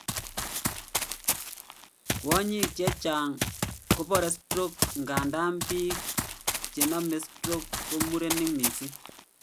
Kwonyik chechang kobore stroke ingandan biik chenome stroke ko murenik missing